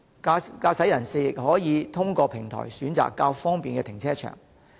駕駛人士亦可以通過平台選擇適合的停車場。